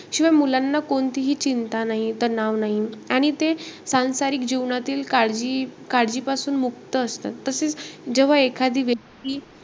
शिवाय मुलांना कोणतीही चिंता नाई, तणाव नाई. आणि ते सांसारिक जीवनातील काळजी-काळजी पासून मुक्त असतात. तसेचं जेव्हा एखादी व्यक्ती,